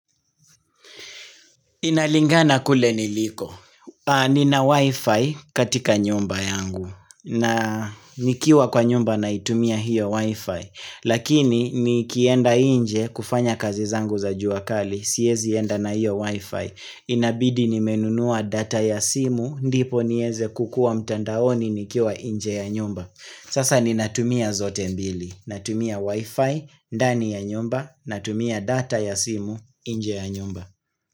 Inalingana kule niliko. Nina wifi katika nyumba yangu na nikiwa kwa nyumba naitumia hiyo wifi. Lakini nikienda inje kufanya kazi zangu za juakali siyezi enda na hiyo wifi. Inabidi nimenunua data ya simu ndipo nieze kukua mtandaoni nikiwa inje ya nyumba. Sasa ninatumia zote mbili. Natumia wifi, ndani ya nyumba, natumia data ya simu inje ya nyumba.